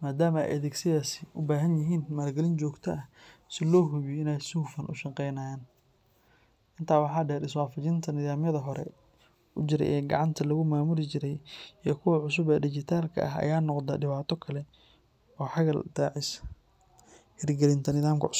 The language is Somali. maadaama ay adeegyadaasi u baahanyihiin maalgelin joogto ah si loo hubiyo in ay si hufan u shaqeeyaan. Intaa waxaa dheer, is waafajinta nidaamyada hore u jiray ee gacanta lagu maamuli jiray iyo kuwa cusub ee dhijitaalka ah ayaa noqda dhibaato kale oo xagal daacisa hirgelinta nidaamka cusub.